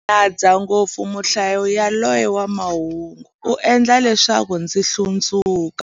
Ndzi nyadza ngopfu muhlayi yaloye wa mahungu, u endla leswaku ndzi hlundzuka.